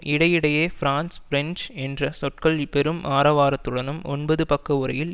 இடையிடேயே France French என்ற சொற்கள் பெரும் ஆரவாரத்துடன் ஒன்பது பக்க உரையில்